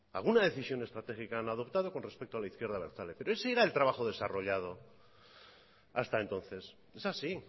alguna decisión estratégica han adoptado con respecto a la izquierda abertzale pero ese era el trabajo desarrollado hasta entonces es así